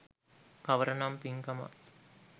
කවර නම් පින්කමක්